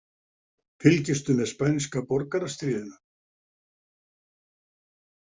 Fylgistu með spænska borgarastríðinu?